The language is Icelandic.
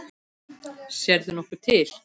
Sérðu nokkuð til?